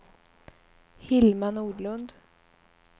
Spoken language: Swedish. Hilma Nordlund